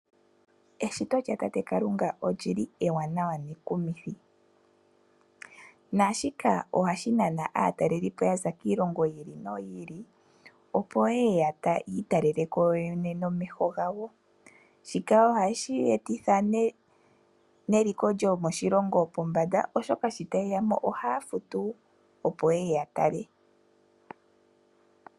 Eshito lyatate Kalunga oli li ewanawa nekumithi. Naashika ohashi nana aatalelipo ya za kiilongo yi ili noyi ili, opo ye ye yi italele ko yo yene nomeho gawo. Shika ohashi etitha neliko lyomoshilongo pombanda, oshoka sho taye ya mo ohaya futu, opo ye ye ya tale.